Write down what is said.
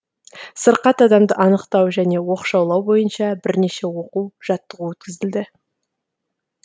сырқат адамды анықтау және оқшаулау бойынша бірнеше оқу жаттығу өткізілді